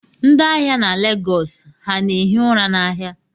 Ndị ahịa na Lagos ha na-ehi ụra n'ahịa